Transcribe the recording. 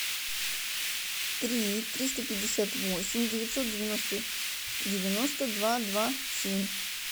три триста пятьдесят восемь девятьсот девяносто девяносто два два семь